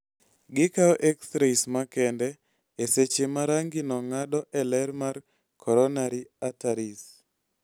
Gikawo x rays makende e seche ma rangino ng�ado e ler mag coronary arteries.